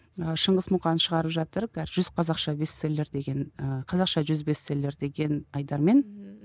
ы шыңғыс мұқан шығарып жатыр жүз қазақша бестселлер деген ы қазақша жүз бестселлер деген айдармен ммм